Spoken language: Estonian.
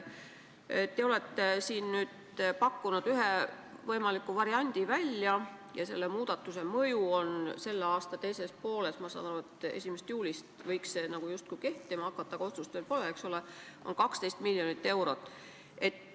Te olete nüüd pakkunud ühe võimaliku variandi välja ja muudatuse mõju on selle aasta teises pooles – ma saan aru, et 1. juulist võiks seadus kehtima hakata, aga otsust ju veel pole – 12 miljonit eurot.